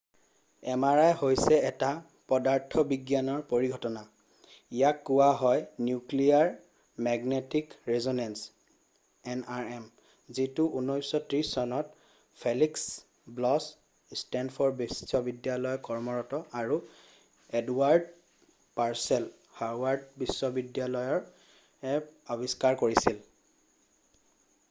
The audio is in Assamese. mri হৈছে এটা পদাৰ্থবিজ্ঞানৰ পৰিঘটনা ইয়াক কোৱা হয় নিউক্লিয়েৰ মেগনেটিক ৰিছ'নেঞ্চ nrm যিটো 1930 চনত ফেলিক্স ব্লছ ষ্টেণ্ডফ'ৰ্ড বিশ্ববিদ্যালয়ত কৰ্মৰত আৰু এডৱাৰ্ড পাৰ্ছেল হাৰ্ভাৰ্ড বিশ্ববিদ্যালয়ৰএ আৱিষ্কাৰ কৰিছিল।